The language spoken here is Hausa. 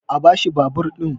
a bashi babur ɗin!